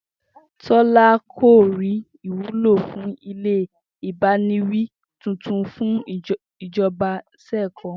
Tó̩lá kò rí ìwúlò fún ilé ìbániwí tuntun tí ìjo̩ba s̩è̩ kó̩